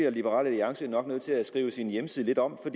at liberal alliance nu nødt til at skrive sin hjemmeside lidt om for